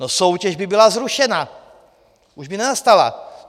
No soutěž by byla zrušena, už by nenastala.